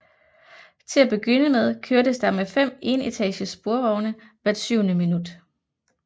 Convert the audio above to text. Til at begynde med kørtes der med fem enetages sporvogne hvert syvende minut